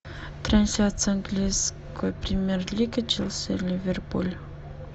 трансляция английской премьер лиги челси ливерпуль